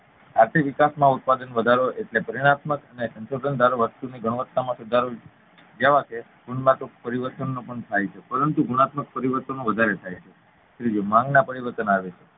આર્થિક વિકાસમાં ઉત્પાદન વધારો એટલે પરિણાત્મક અને સંશોધનકારક વસ્તુની ગુણવતા માં વધારો જેવા કે પરિવર્તનો પણ થાય છે પરંતુ ગુણાત્મક પરિવર્તનો વધારે થાય છે ત્રીજું માંગ માં પરિવર્તન આવે છે